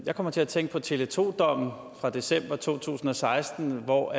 jeg kommer til at tænke på tele2 dommen fra december to tusind og seksten hvor